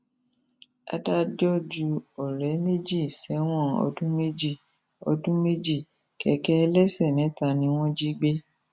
adájọ ju ọrẹ méjì sẹwọn ọdún méjì ọdún méjì kẹkẹ ẹlẹsẹ mẹta ni wọn jí gbé